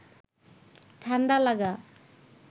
ঠাণ্ডা লাগা